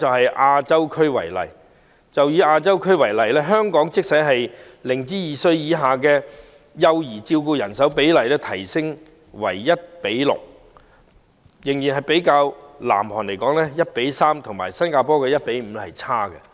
以亞洲區為例，即使香港將0至2歲以下幼兒的照顧人手比例優化為 1：6， 仍落後於南韓的 1：3 和新加坡的 1：5。